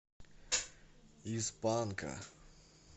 из панка